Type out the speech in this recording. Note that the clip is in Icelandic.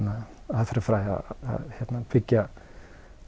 aðferðarfræði að byggja